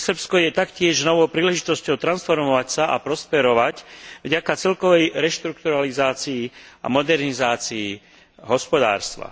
Pre Srbsko je taktiež novou príležitosťou transformovať sa a prosperovať vďaka celkovej reštrukturalizácii a modernizácii hospodárstva.